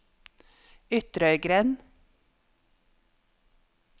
Ytrøygrend